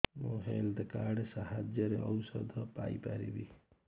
ମୁଁ health card ସାହାଯ୍ୟରେ ଔଷଧ ପାଇ ପାରିବି